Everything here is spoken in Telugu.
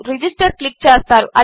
రిజిస్టర్ క్లిక్చేస్తారు